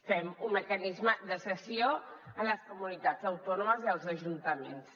fem un mecanisme de cessió a les comunitats autònomes i els ajuntaments